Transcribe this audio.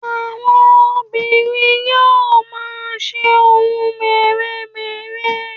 àwọn obìnrin yíò ma se ohun mere-mere